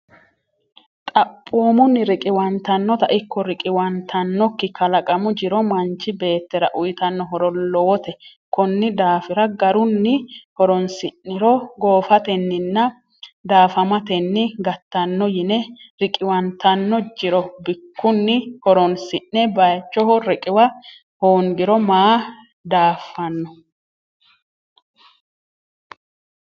Xaphoomunni, riqiwantannotano ikko riqiwantannokki kalaqamu jiro manchi beettira uytanno horo lowote Konni daafira garunni horonsi’niro goofatenninna daafamatenni gattanno yine Riqiwantanno jiro bikkunni horonsi’ne baychoho riqiwa hongiro maa daafano?